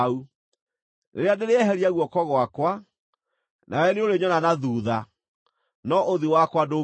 Rĩrĩa ndĩrĩeheria guoko gwakwa, nawe nĩũrĩnyona na thuutha; no ũthiũ wakwa ndũngĩonwo.”